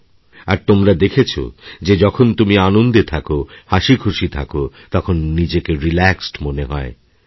আর তোমরা দেখেছ যে যখন তুমি আনন্দেথাকো হাসিখুশি থাকো তখন নিজেকে রিল্যাক্সড মনে হয় তোমার